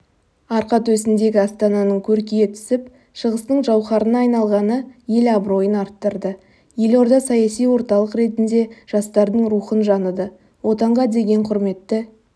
арқа төсіндегі астананың көркейе түсіп шығыстың жауһарына айналғаны ел абыройын арттырды елорда саяси орталық ретінде жастардың рухын жаныды отанға деген құрметті